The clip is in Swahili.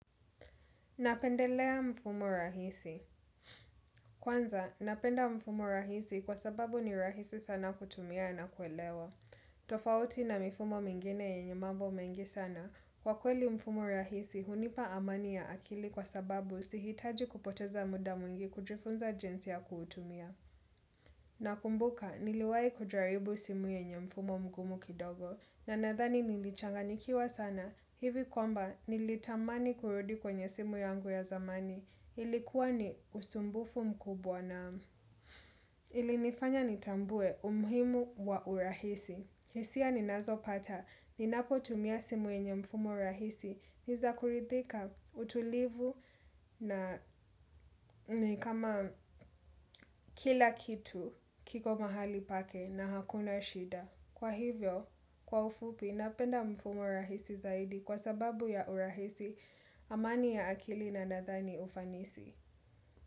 Napendelea mfumo rahisi. Kwanza, napenda mfumo rahisi kwa sababu ni rahisi sana kutumia na kuelewa. Tofauti na mifumo mengine yenye mambo mengi sana. Kwa kweli mfumo rahisi, hunipa amani ya akili kwa sababu sihitaji kupoteza muda mwingi kujifunza jinsi ya kuutumia. Nakumbuka niliwahi kujaribu simu yenye mfumo mgumu kidogo na nadhani nilichanganyikiwa sana hivi kwamba nilitamani kurudi kwenye simu yangu ya zamani. Ilikuwa ni usumbufu mkubwa naam. Ilinifanya nitambue umuhimu wa urahisi. Hisia ninazopata, ninapotumia simu yenye mfumo rahisi. Ni za kuridhika, utulivu na kama kila kitu kiko mahali pake na hakuna shida. Kwa hivyo, kwa ufupi, napenda mfumo rahisi zaidi kwa sababu ya urahisi, amani ya akili na nadhani ufanisi.